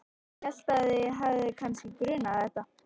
Hélt að þig hefði kannski grunað þetta.